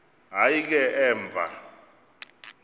hayi ke emva